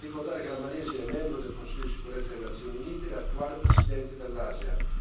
Bisogna ricordare che la Malesia è membro del Consiglio sicurezza delle Nazioni Unite e attuale presidente dell'ASEAN.